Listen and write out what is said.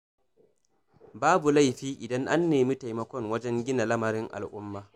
Babu laifi idan an nemi taimakon wajen gina lamarin al'umma